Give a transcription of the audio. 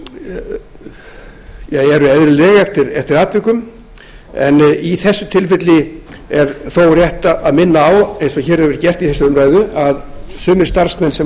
ja eru eðlileg eftir atvikum en í þessu tilfelli er þó rétt að minna á eins og hér hefur verið gert í þessari umræðu að sumir starfsmenn sem